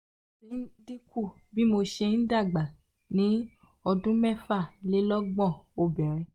ó ti dín kù bí mo ṣe ń dàgbà ní ọdún mefalelogbon obìnrin)